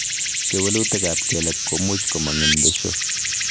Kewelutikab kelek komuch komong' en besio.